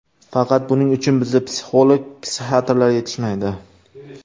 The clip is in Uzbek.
Faqat buning uchun bizda psixolog, psixiatrlar yetishmaydi.